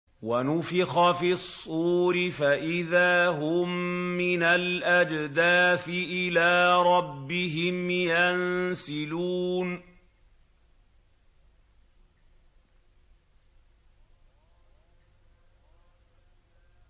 وَنُفِخَ فِي الصُّورِ فَإِذَا هُم مِّنَ الْأَجْدَاثِ إِلَىٰ رَبِّهِمْ يَنسِلُونَ